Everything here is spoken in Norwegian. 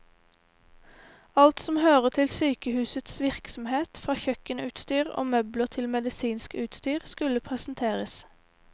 Alt som hører til sykehusets virksomhet, fra kjøkkenutstyr og møbler til medisinsk utstyr, skulle presenteres.